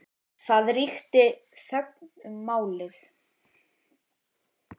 Það ríkti þögn um málið.